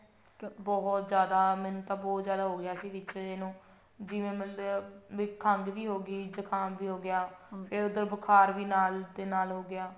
ਬਹੁਤ ਜਿਆਦਾ ਮੈਨੂੰ ਤਾਂ ਬਹੁਤ ਜਿਆਦਾ ਹੋ ਗਿਆ ਸੀ ਵਿੱਚ ਜੇ ਨੂੰ ਜਿਵੇਂ ਮਤਲਬ ਖੰਗ ਵੀ ਹੋਗੀ ਜੁਕਾਮ ਵੀ ਹੋਗਿਆ ਫੇਰ ਮਤਲਬ ਬੁਖਾਰ ਵੀ ਨਾਲ ਦੇ ਨਾਲ ਹੋਗਿਆ